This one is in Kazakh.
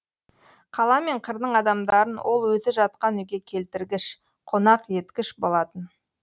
қала мен қырдың адамдарын ол өзі жатқан үйге келтіргіш қонақ еткіш болатын